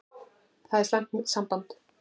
Það er slæmt samband.